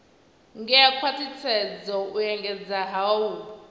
ngea khwathisedza u engedza hue